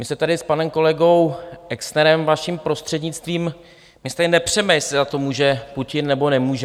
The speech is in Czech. My se tady s panem kolegou Exnerem, vaším prostřednictvím, my se tady nepřeme, jestli za to může Putin, nebo nemůže.